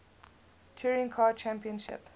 touring car championship